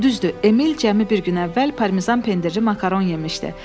Düzdür, Emil cəmi bir gün əvvəl parmizan pendiri makaron yemişdi.